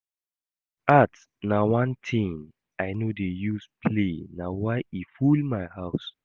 Art na one thing I no dey use play na why e full my house